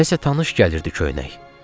Nəsə tanış gəlirdi köynək.